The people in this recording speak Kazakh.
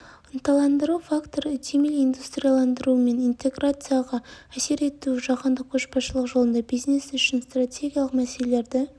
ынталандыру факторы үдемелі индустрияландыру мен интеграцияға әсер етуі жаһандық көшбасшылық жолында бизнес үшін стратегиялық мәселелерді